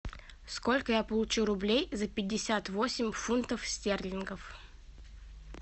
сколько я получу рублей за пятьдесят восемь фунтов стерлингов